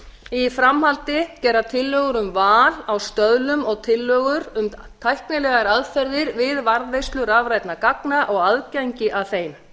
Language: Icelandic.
í framhaldi gera tillögur um val á stöðlum og tillögur um tæknilegar aðferðir við varðveislu rafrænna gagna og aðgengi að þeim